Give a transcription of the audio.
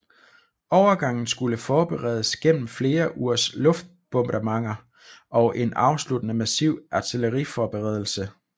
Overgangen skulle forberedes gennem flere ugers luftbombardementer og en afsluttende massiv artilleriforberedelse